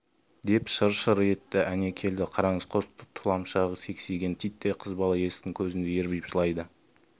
деп шыр-шыр етті әне келді қараңыз қос тұлымшағы сексиген титтей қыз бала есіктің көзінде ербиіп жылайды